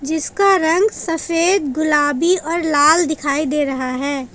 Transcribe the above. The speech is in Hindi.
जिसका रंग सफेद गुलाबी और लाल दिखाई दे रहा है।